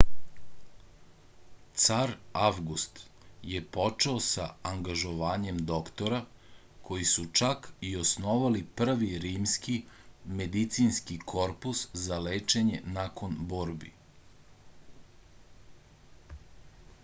car avgust je počeo sa angažovanjem doktora koji su čak i osnovali prvi rimski medicinski korpus za lečenje nakon borbi